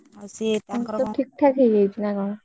ସିଏ ତାଙ୍କର କଣ? ଠିକଠାକ ହେଇଯାଇଛି ନା କଣ?